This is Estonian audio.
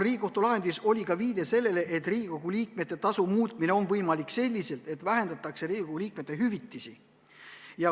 Riigikohtu lahendis oli ka viide sellele, et Riigikogu liikmete tasu muutmine on võimalik nii, et vähendatakse Riigikogu liikmete hüvitisi.